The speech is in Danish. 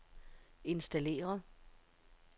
installere